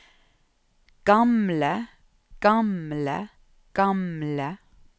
gamle gamle gamle